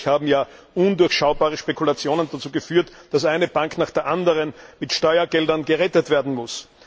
Schließlich haben ja undurchschaubare Spekulationen dazu geführt, dass eine Bank nach der anderen mit Steuergeldern gerettet werden muss.